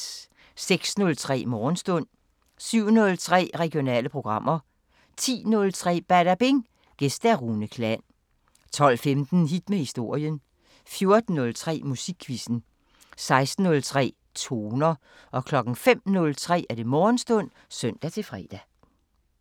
06:03: Morgenstund 07:03: Regionale programmer 10:03: Badabing: Gæst Rune Klan 12:15: Hit med historien 14:03: Musikquizzen 16:03: Toner 05:03: Morgenstund (søn-fre)